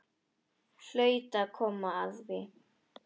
Hlaut að koma að því.